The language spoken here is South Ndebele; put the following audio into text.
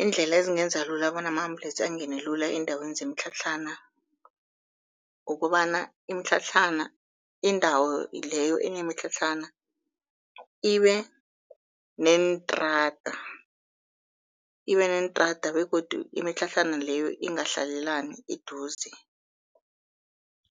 Iindlela ezingenza lula bona ama-ambulensi angene lula eendaweni zemitlhatlhana, kukobana imitlhatlhana indawo leyo enemitlhatlhana ibe neentrada, ibe neentrada begodu imitlhatlhana leyo ingahlalelani eduze.